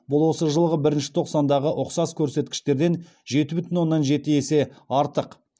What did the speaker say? бұл осы жылғы бірінші тоқсандағы ұқсас көрсеткіштерден жеті бүтін оннан жеті есе артық